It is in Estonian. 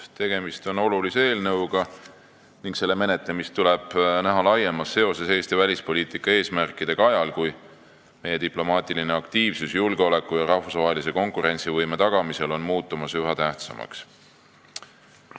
Tegemist on olulise eelnõuga ning selle menetlemist tuleb näha laiemas seoses Eesti välispoliitika eesmärkidega ajal, kui meie diplomaatiline aktiivsus julgeoleku ja rahvusvahelise konkurentsivõime tagamisel muutub üha tähtsamaks.